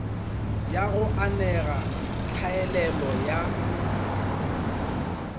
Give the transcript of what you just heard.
ya go anega tlhaelelo ya